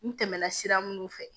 N tɛmɛna sira minnu fɛ